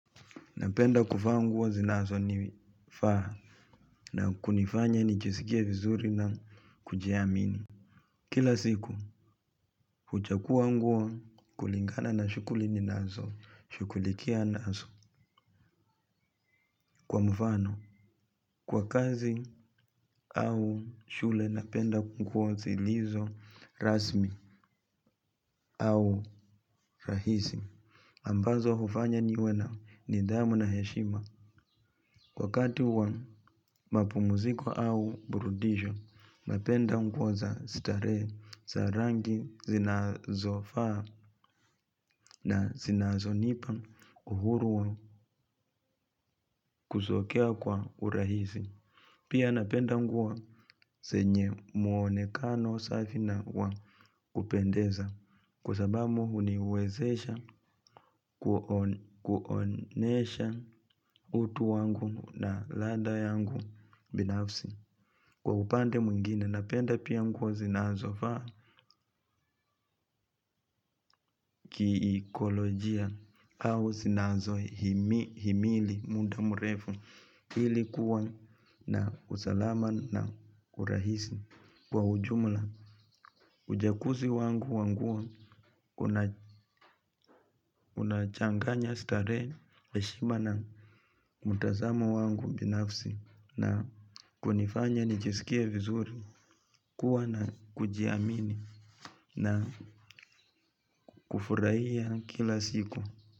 Napenda kuvaa nguo zinazonifaa na kunifanya nijisikia vizuri na kujiamini. Kila siku, huchagua nguo kulingana na shughuli ninazo, shughulikia nazo kwa mfano. Kwa kazi au shule napenda nguo zilizo, rasmi au rahisi. Ambazo hufanya niwe na nidhamu na heshima. Wakati wa mapumuziko au burudisho, napenda nguo za starehe za rangi zinazofaa na zinazonipa uhuru wa kuzokea kwa urahisi. Pia napenda nguo zenye muonekano safi na wa kupendeza. Kwa sababu huniwezesha kuonesha utu wangu na ladha yangu binafsi. Kwa upande mwingine napenda pia nguo zinazofaa kiekolojia au zinazohimili muda mrefu ili kuwa na usalama na kurahisi. Kwa ujumla, ujakuzi wangu wa nguo una unachanganya starehe heshima na mtazamo wangu binafsi na kunifanya nijisikie vizuri kuwa na kujiamini na kufurahia kila siku.